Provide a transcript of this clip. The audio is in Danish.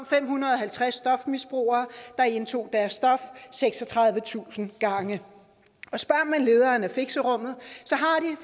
fem hundrede og halvtreds stofmisbrugere der indtog deres stof seksogtredivetusind gange og spørger man lederen af fixerummet